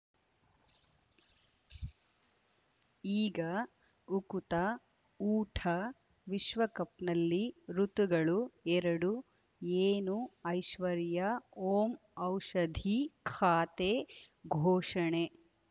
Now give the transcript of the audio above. ಈಗ ಉಕುತ ಊಟ ವಿಶ್ವಕಪ್‌ನಲ್ಲಿ ಋತುಗಳು ಎರಡು ಏನು ಐಶ್ವರ್ಯಾ ಓಂ ಔಷಧಿ ಖಾತೆ ಘೋಷಣೆ